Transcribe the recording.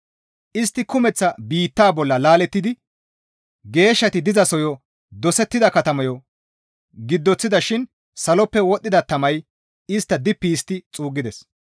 Istti kumeththa biittaa bolla laalettidi geeshshati dizasoyo dosettida katamayo giddoththida shin saloppe wodhdhida tamay istta dippi histti xuuggides.